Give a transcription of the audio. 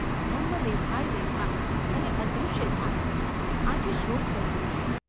બ્રહ્મ દેખાય દેખાય અને અદૃશ્ય થાય ! આજે શૃંગ બદલ્યું છે.